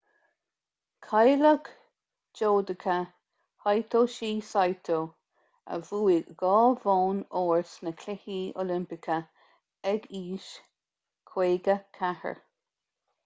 cailleadh judoka hitoshi saito a bhuaigh dhá bhonn óir sna cluichí oilimpeacha ag aois 54